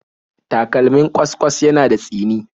Takalmin ƙwas-ƙwas yana da tsini